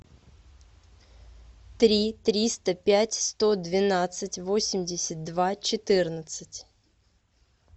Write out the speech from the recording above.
три триста пять сто двенадцать восемьдесят два четырнадцать